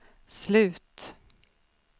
slut